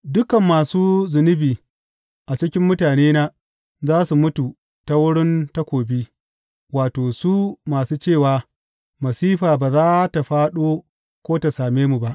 Dukan masu zunubi a cikin mutanena za su mutu ta wurin takobi, wato, su masu cewa, Masifa ba za tă fāɗo ko ta same mu ba.’